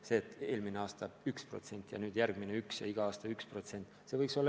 Kas nii, et eelmine aasta lisandus 1% ja tänavu ning järgmine aasta ka 1% ja iga aasta 1%?